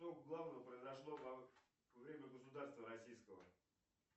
что главного произошло во время государства российского